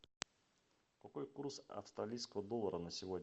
какой курс австралийского доллара на сегодня